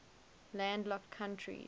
landlocked countries